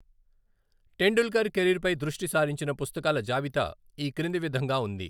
టెండుల్కర్ కెరీర్పై దృష్టి సారించిన పుస్తకాల జాబితా ఈ క్రింది విధంగా ఉంది.